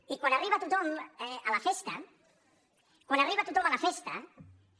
i quan arriba tothom a la festa quan arriba tothom a la festa